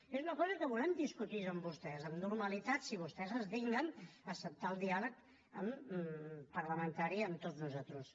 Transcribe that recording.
i és una cosa que volem discutir amb vostès amb normalitat si vostès es dignen a acceptar el diàleg parlamentari amb tots nosaltres